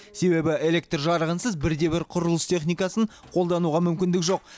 себебі электр жарығынсыз бірде бір құрылыс техникасын қолдануға мүмкіндік жоқ